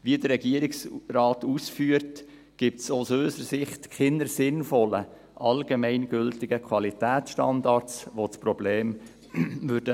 Wie der Regierungsrat ausführt, gibt es aus unserer Sicht keine sinnvollen allgemein gültigen Qualitätsstandards, die das Problem lösen würden.